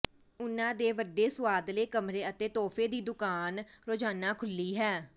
ਉਨ੍ਹਾਂ ਦੇ ਵੱਡੇ ਸੁਆਦਲੇ ਕਮਰੇ ਅਤੇ ਤੋਹਫ਼ੇ ਦੀ ਦੁਕਾਨ ਰੋਜ਼ਾਨਾ ਖੁੱਲ੍ਹੀ ਹੈ